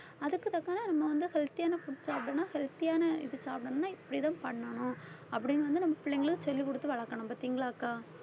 அதுக்கு தக்க நம்ம வந்து healthy ஆன food சாப்பிடணும் healthy யான இது சாப்பிடணும்ன்னா இப்படிதான் பண்ணணும் அப்படின்னு வந்து நம்ம பிள்ளைங்களுக்கு சொல்லிக் குடுத்து வளர்க்கணும் பாத்தீங்களா அக்கா